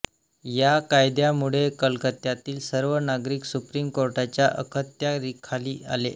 या कायद्यामुळे कलकत्यातील सर्व नागरिक सुप्रीम कोर्टाच्या अखत्यारीखाली आले